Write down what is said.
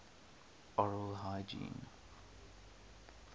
oral hygiene